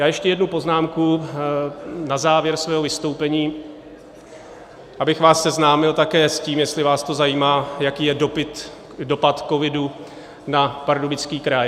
Já ještě jednu poznámku na závěr svého vystoupení, abych vás seznámil také s tím, jestli vás to zajímá, jaký je dopad covidu na Pardubický kraj.